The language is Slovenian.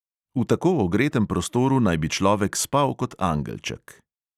V tako ogretem prostoru naj bi človek spal kot angelček.